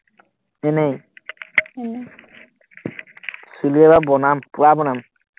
এনেই চুলি এইবাৰ বনাম, পুৰা বনাম